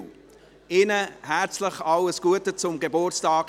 Ich wünsche ihnen im Nachhinein herzlich alles Gute zum Geburtstag.